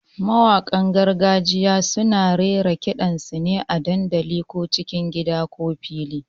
Mawaƙan gargajiya kuma suna raira ƙidan sune a dandali, ko cikin gida ko fili.